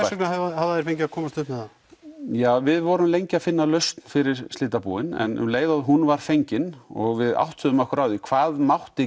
vegna hafa þeir fengið að komast upp með það ja við vorum lengi að finna lausn fyrir slitabúin en um leið og hún var fengin og við áttuðum okkur á því hvað mætti